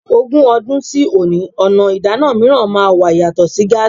Ogún ọdún sí òní, ọ̀nà ìdáná mìíràn máa wà yàtọ̀ sí gáàsí.